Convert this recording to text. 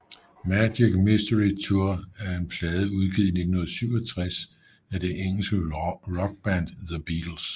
Magical Mystery Tour er en plade udgivet i 1967 af det engelske rockband The Beatles